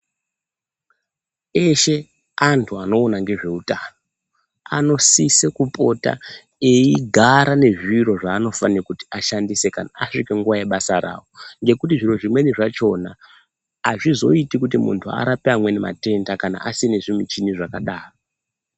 Eshe antu anoona ngezveutano anosise kupota eigara ane zviro zvanofana kuti ashandise kana asvike nguva yebasa ravo. Ngekuti zvoro zvimweni zvachona hazvizoiti kuti muntu arape umwe matenda kana asina zvimweni zvimichina zvakadaro.